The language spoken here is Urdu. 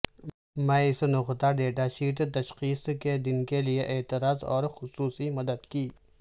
میں اس نقطہ ڈیٹا شیٹ تشخیص کے دن کے لئے اعتراض اور خصوصی مدد کی